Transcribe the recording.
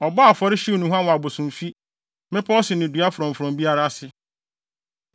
Ɔbɔɔ afɔre, hyew nnuhuam wɔ abosomfi, mmepɔw so ne dua frɔmfrɔm biara ase.